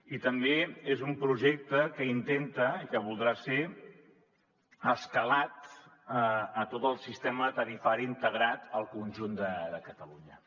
i també és un projecte que intenta i que voldrà ser escalat a tot el sistema tarifari integrat al conjunt de catalunya